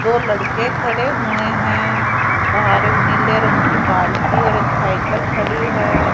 दो लड़के खड़े हुए हैं बाहर एक नीले रंग की बाल्टी और एक साइकल खड़ी है।